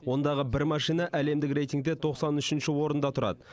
ондағы бір машина әлемдік рейтингте тоқсан үшінші орында тұрады